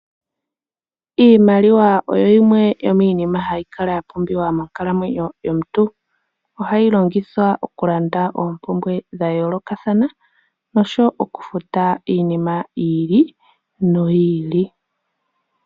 Iimaliwa oyo yimwe yomiinima hayi kala ya pumbiwa monkalamwenyo yomuntu. Ohayi longithwa okulanda oompumbwe dha yoolokathana nosho wo okufuta iinima yi ili noyi ili.